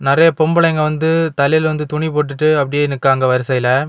நிறைய பொம்பளைங்க வந்து தலையில வந்து துணி போட்டுட்டு அப்படியே நிக்கிறாங்க வரிசையில.